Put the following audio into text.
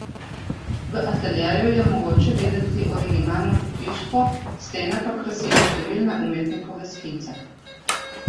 V ateljeju je mogoče videti originalno pohištvo, stene pa krasijo številne umetnikove skice.